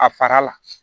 A fara la